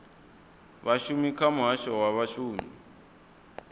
vhashumi kha muhasho wa vhashumi